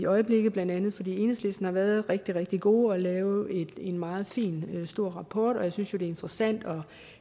øjeblikket blandt andet fordi enhedslisten har været rigtig rigtig gode til at lave en meget fin og stor rapport jeg synes jo at det er interessant at